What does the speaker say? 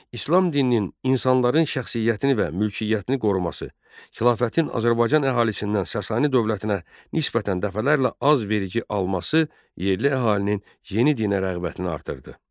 İslam dininin insanların şəxsiyyətini və mülkiyyətini qoruması, xilafətin Azərbaycan əhalisindən Sasanı dövlətinə nisbətən dəfələrlə az vergi alması yerli əhalinin yeni dinə rəğbətini artırdı.